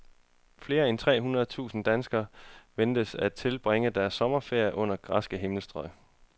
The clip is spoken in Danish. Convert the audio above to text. Flere end tre hundrede tusinde danskere ventes at tilbringe deres sommerferie under græske himmelstrøg.